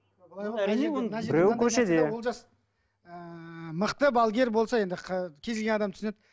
біреуі көшеде олжас ыыы мықты балгер болса енді кез келген адам түсінеді